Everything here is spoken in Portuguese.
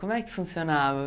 Como é que funcionava?